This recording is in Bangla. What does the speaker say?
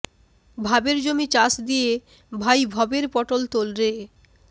ভাবের জমি চাষ দিয়ে ভাই ভবের পটোল তোল রে